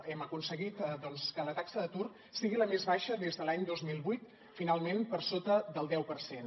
hem aconseguit doncs que la taxa d’atur sigui la més baixa des de l’any dos mil vuit finalment per sota del deu per cent